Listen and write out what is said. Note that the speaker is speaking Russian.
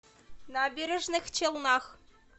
набережных челнах